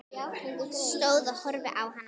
Stóð og horfði á hana.